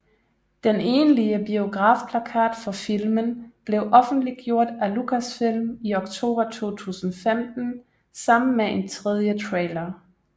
Den egentlige biografplakat for filmen blev offentliggjort af Lucasfilm i oktober 2015 sammen med en tredje trailer